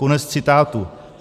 Konec citátu.